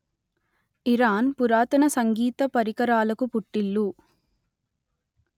Iran పురాతన సంగీతపరికరాలకు పుట్టిల్లు